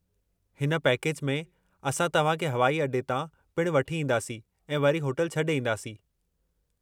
हिन पैकेज में असां तव्हां खे हवाई अॾे तां पिणु वठी ईंदासीं ऐं वरी होटल छ्डे॒ ईंदासीं।